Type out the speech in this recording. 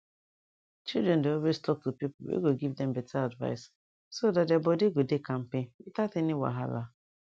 children dey always talk to people wey go give them better advice so that their body go dey kampe without any wahala